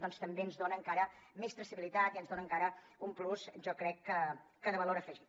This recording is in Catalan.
doncs també ens dona encara més traçabilitat i ens dona encara un plus jo crec que de valor afegit